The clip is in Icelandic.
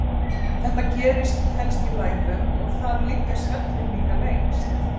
Þetta gerist helst í lægðum, og þar liggja svellin líka lengst.